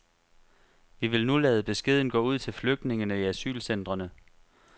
Vi vil nu lade beskeden gå ud til flygtningene i asylcentrene.